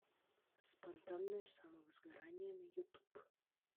спонтанное самовозгорание на ютуб